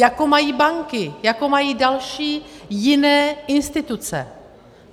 Jako mají banky, jako mají další, jiné instituce.